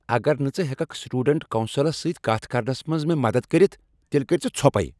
اگر نہٕ ژٕ ہیککھ سٹوڈنٹس کونسلس سۭتۍ کتھ کرنس منز مےٚ مدد کٔرتھ، تیٚلہ کٔرۍ زِ ژھۄپَے۔